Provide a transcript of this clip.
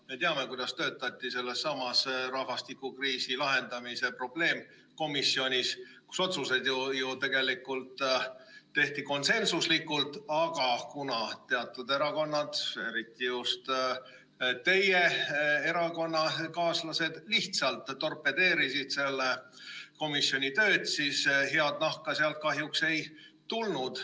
Me teame, kuidas töötati sellessamas rahvastikukriisi lahendamise probleemkomisjonis, kus otsused ju tegelikult tehti konsensuslikult, aga kuna teatud erakonnad, eriti just teie erakonnakaaslased, lihtsalt torpedeerisid selle komisjoni tööd, siis head nahka sealt kahjuks ei tulnud.